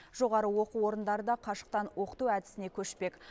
жоғары оқу орындары да қашықтан оқыту әдісіне көшпек